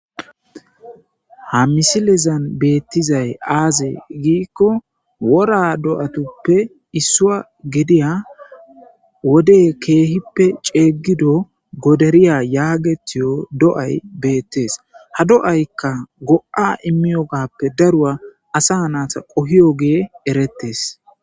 Ha misilezan beettizay aaze giikko wora do7atuppe issua gediya wode keehippe ceeyggido goderiya yaagetiyo do7ay beettees ha do7aykka go7a immiyogappe darua asa naasa qohiyogee erettes.